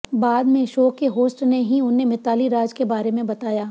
बाद में शो के होस्ट ने ही उन्हें मिताली राज के बारे में बताया